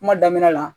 Kuma daminɛ la